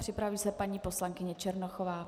Připraví se paní poslankyně Černochová.